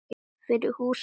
Fyrir húsið.